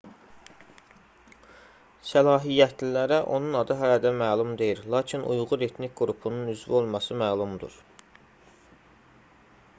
səlahiyyətlilərə onun adı hələ də məlum deyil lakin uyğur etnik qrupunun üzvü olması məlumdur